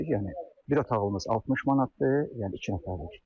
Yəni bir otağımız 60 manatdır, yəni iki nəfərlik.